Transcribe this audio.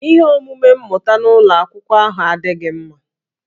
Ihe omume mmụta n'ụlọ akwụkwọ ahụ adịghị mma